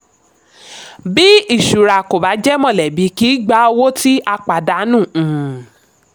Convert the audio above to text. bí ìṣura kò bá jẹ́ mọ̀lẹ́bí kì í gba owó tí a pàdánù. um